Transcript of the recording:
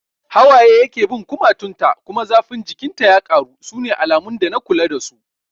Hawaye yake bin kumatun ta kuma zafin jikin ta ya karu, sune alamun dana kula da su